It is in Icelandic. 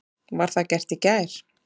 Var það gert í gær.